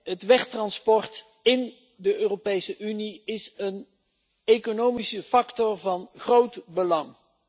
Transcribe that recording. Het wegtransport in de Europese Unie is een economische factor van groot belang.